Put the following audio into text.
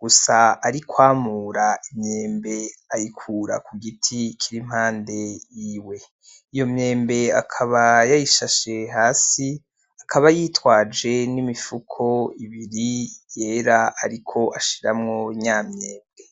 gusa arikwamura imyembe ayikura kugiti kiri impande yiwe iyo myembe akaba yayishashe hasi akaba yitwaje n'imifuko ibiri yera ariko ashiramwo nya myembe